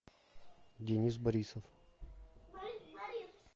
денис борисов